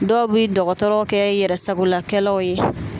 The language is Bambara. Dɔw bɛ dɔgɔtɔrɔ kɛ yɛrɛsagolakɛlaw ye